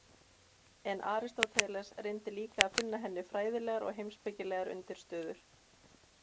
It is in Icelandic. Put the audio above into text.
En Aristóteles reyndi líka að finna henni fræðilegar og heimspekilegar undirstöður.